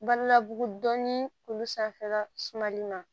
Balila bugu dɔn ni olu sanfɛla sumali ma